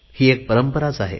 ही एक परंपरा आहे